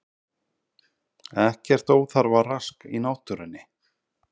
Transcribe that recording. Ekkert óþarfa rask í náttúrunni